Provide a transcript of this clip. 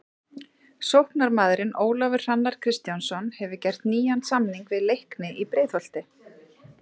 Sóknarmaðurinn Ólafur Hrannar Kristjánsson hefur gert nýjan samning við Leikni í Breiðholti.